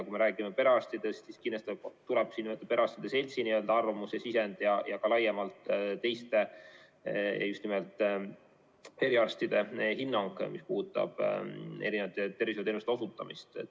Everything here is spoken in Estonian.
Kui me räägime perearstidest, siis kindlasti tuleb siin võtta perearstide seltsilt arvamus ja sisend ning ka laiemalt teiste, just nimelt eriarstide hinnang, mis puudutab erinevate tervishoiuteenuste osutamist.